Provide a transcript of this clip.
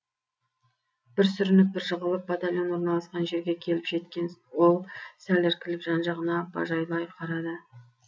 бір сүрініп бір жығылып батальон орналасқан жерге келіп жеткен ол сәл іркіліп жан жағына бажайлай қарады